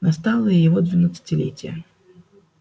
настало и его двенадцатилетие